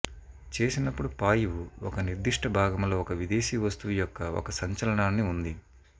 చేసినప్పుడు పాయువు ఒక నిర్దిష్ట భాగం లో ఒక విదేశీ వస్తువు యొక్క ఒక సంచలనాన్ని ఉంది